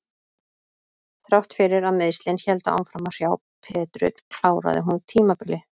Þrátt fyrir að meiðslin héldu áfram að hrjá Petru kláraði hún tímabilið.